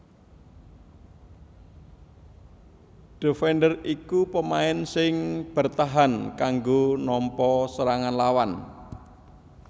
Defender iku pamain sing bertahan kanggo nampa serangan lawan